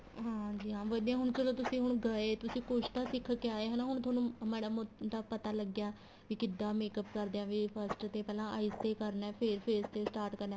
ਹਾਂਜੀ ਹਾਂ ਵਧੀਆ ਹੁਣ ਚਲੋਂ ਤੁਸੀਂ ਹੁਣ ਗਏ ਤੁਸੀਂ ਕੁੱਛ ਤਾਂ ਸਿੱਖ ਕੇ ਆਇਆ ਹਨਾ ਤੁਹਾਨੂੰ ਹੁਣ ਮਾੜਾ ਮੋਟਾ ਪਤਾ ਲੱਗਿਆ ਵੀ ਕਿੱਦਾਂ makeup ਕਰਦੇ ਹਾਂ ਵੀ first ਤੇ ਪਹਿਲਾਂ eyes ਤੇ ਕਰਨਾ ਏ ਫ਼ੇਰ face ਤੇ start ਕਰਨਾ ਏ